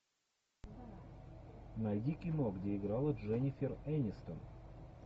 найди кино где играла дженнифер энистон